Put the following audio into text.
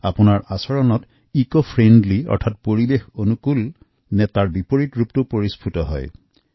আপোনাৰ নিজৰ দৈনন্দিত কামকাজৰ সময়ত পৰিৱেশঅনুকূল দিশৰ প্ৰতি গুৰুত্ব আৰোপ কৰা হৈছে নে নাই নে তাৰ বিপৰীত অৱস্থাহে হৈছে সেয়া জনা অতি জৰুৰী